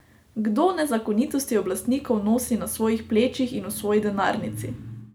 Kdo nezakonitosti oblastnikov nosi na svojih plečih in v svoji denarnici?